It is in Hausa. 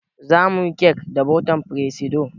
Zamuyi cake da botan firesido